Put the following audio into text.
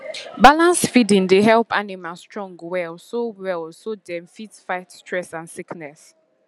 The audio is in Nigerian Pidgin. balanced feeding dey help animal strong well so well so dem fit fight stress and sickness